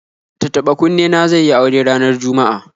Tattaɓa-kunne na zai yi aure ranar Juma'a